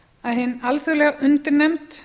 að hin alþjóðlega undirnefnd